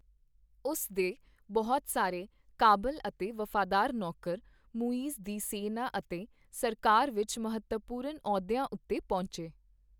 ਉਸ ਦੇ ਬਹੁਤ ਸਾਰੇ ਕਾਬਲ ਅਤੇ ਵਫ਼ਾਦਾਰ ਨੌਕਰ ਮੁਈਜ਼ ਦੀ ਸੈਨਾ ਅਤੇ ਸਰਕਾਰ ਵਿੱਚ ਮਹੱਤਵਪੂਰਨ ਅਹੁਦੀਆਂ ਉੱਤੇ ਪਹੁੰਚੇ।